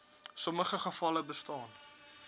sommige gevalle bestaan